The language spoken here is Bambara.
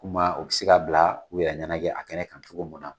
Kuma u bi se k'a bila u yɛrɛ ɲɛnajɛ a kɛnɛ kan cogo mun na